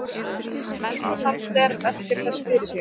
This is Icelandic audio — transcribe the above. Mensalder veltir þessu fyrir sér.